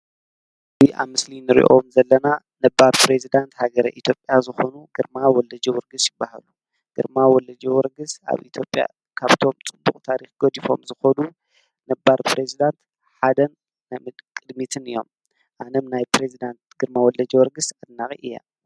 እዙ ኢትዮጲያ ስእሊን ርእዮም ዘለና ነባር ጵሬዝዳንት ሃገረ ኢትዮጲያ ዝኾኑ ግርማ ወለጅ ወርግስ ይበሃሉ ግርማ ወለጀ ወርግሥ ኣብ ኢቲጴያ ካብቶም ጽቡቕ ታሪኽ ጐዲፎም ዝኾዱ ነባር ጵሬዝዳንት ሓደን ናምድ ቅድሚትን እዮም ኣነም ናይ ጵሬዝዳንት ግርማ ወለጀወርግሥ ኣናቒ እያ።